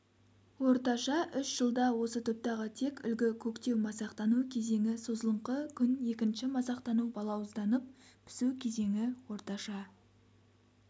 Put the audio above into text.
орташа үш жылда осы топтағы тек үлгі көктеу-масақтану кезеңі созылыңқы күн екінші масақтану балауызданып пісу кезеңі орташа